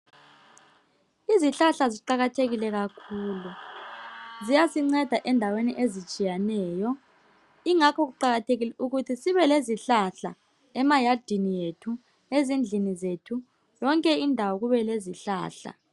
Izihlahla ziqakathekile kakhulu .Ziyasinceda endaweni ezitshiyeneyo. Ingakho kuqakathekile ukuthi sibe lezihlahla emayadini ethu, ezindlini zethu .Yonke indawo kube lezihlahla .